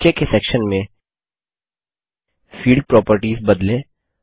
नीचे के सेक्शन में फील्ड Propertiesफील्ड प्रोपर्टिज बदलें